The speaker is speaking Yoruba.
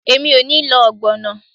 Emi o ni lo ogbono